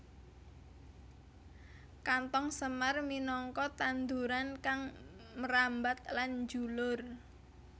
Kanthong semar minangka tanduran kang mrambat lan njulur